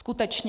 Skutečně?